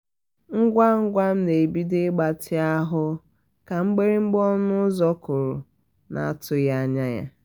ngwa ngwa m na ebido ịgbatị ahu ka mgbirigba ọnụ ụzọ kụrụ na atughi anya ya